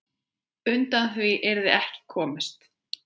Undan því yrði ekki komist.